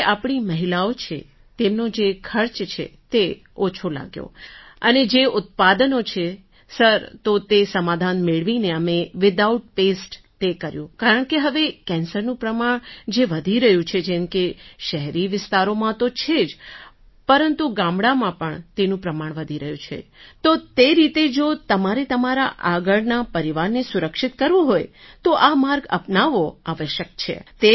sir જે આપણી મહિલાઓ છે તેમનો જે ખર્ચ છે તે ઓછો લાગ્યો અને જે ઉત્પાદનો છે સર તો તે સમાધાન મેળવીને અમે વિધાઉટ પેસ્ટ તે કર્યું કારણકે હવે કેન્સરનું પ્રમાણ જે વધી રહ્યું છે જેમ કે શહેરી વિસ્તારોમાં તો છે જ પરંતુ ગામડામાં પણ તેનું પ્રમાણ વધી રહ્યું છે તો તે રીતે જો તમારે તમારા આગળના પરિવારને સુરક્ષિત કરવો હોય તો આ માર્ગ અપનાવવો આવશ્યક છે